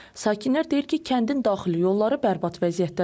Sakinlər deyir ki, kəndin daxili yolları bərbad vəziyyətdədir.